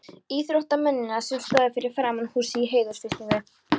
íþróttamennina, sem stóðu fyrir framan húsið í heiðursfylkingu.